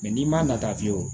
n'i man na ta fiyewu